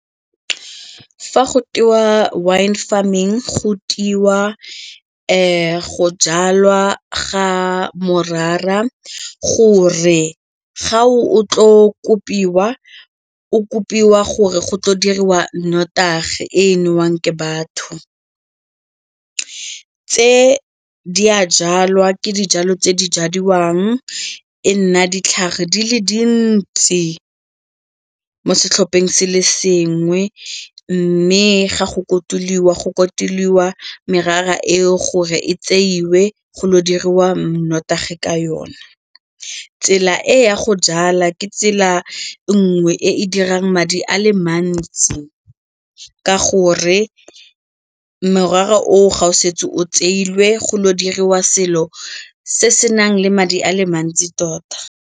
Fa go tewa wine farming go tewa go jalwa ga morara gore ga o tlo kopiwa o kopiwa gore go tlo diriwa notagi e newang ke batho. Tse di a jalwa, ke dijalo tse di jadiwang e nna ditlhare di le dintsi mo setlhopheng se le sengwe mme ga go kotulwa go kotulwa merara eo gore e tseiwe go lo diriwa mo nnotagi ka yona. Tsela e ya go jala ke tsela e nngwe e e dirang madi a le mantsi ka gore morara o ga o setse o tseilwe go lo diriwa selo se se nang le madi a le mantsi tota.